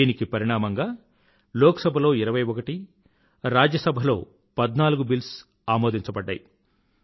దీనికి పరిణామంగా లోక్ సభలో ఇరవై ఒకటి రాజ్య సభలో పధ్నాలుగు బిల్స్ ఆమోదించబడ్డాయి